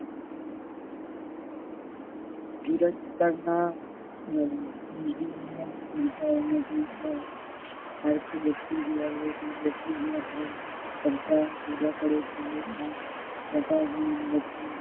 ધુરાજ પર ના હમ આલ્ક વ્યક્તિ